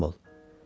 Xidmətçim ol.